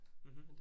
Mh